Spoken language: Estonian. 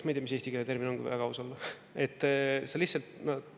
Ma ei tea, mis eestikeelne termin on, kui väga aus olla.